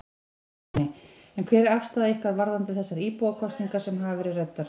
Ingólfur Bjarni: En hver er afstaða ykkar varðandi þessar íbúakosningar sem hafa verið ræddar?